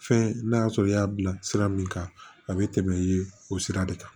Fɛn n'a y'a sɔrɔ i y'a bila sira min kan a be tɛmɛ ye o sira de kan